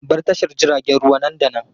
Bar tashar jiragen ruwa nan da nan!